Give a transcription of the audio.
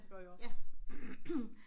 Det gør jeg også